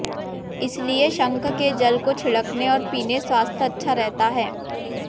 इसलिए शंख के जल को छिड़कने और पीने स्वास्थ्य अच्छा रहता है